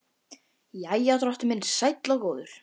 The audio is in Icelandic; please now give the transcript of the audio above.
Jæja, drottinn minn sæll og góður.